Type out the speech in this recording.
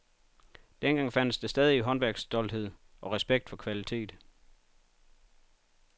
Dengang fandtes der stadig håndværkerstolthed og respekt for kvalitet.